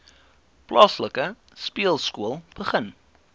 plaaslike speelskool begin